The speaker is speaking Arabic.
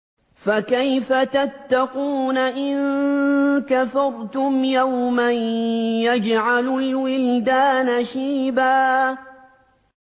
فَكَيْفَ تَتَّقُونَ إِن كَفَرْتُمْ يَوْمًا يَجْعَلُ الْوِلْدَانَ شِيبًا